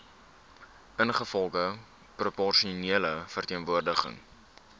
ingevolge proporsionele verteenwoordiging